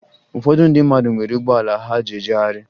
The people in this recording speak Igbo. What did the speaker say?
Ụfọdụ ndị mmadụ nwere ụgbọala ha ji ejegharị